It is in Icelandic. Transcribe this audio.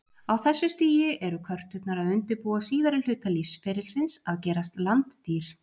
Á þessu stigi eru körturnar að undirbúa síðari hluta lífsferlisins, að gerast landdýr.